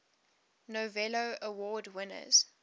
novello award winners